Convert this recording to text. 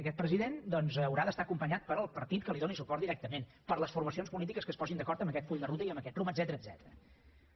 aquest president doncs haurà d’estar acompanyat pel partit que li doni suport directament per les formacions polítiques que es posin d’acord en aquest full de ruta i amb aquest rumb etcètera